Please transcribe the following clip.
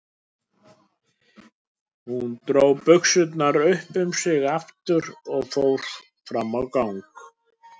Hún dró buxurnar upp um sig aftur og fór fram á gang.